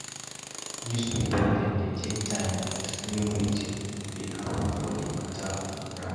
Newspaper dem dey take time xplain wetin dey happen for di mata on ground.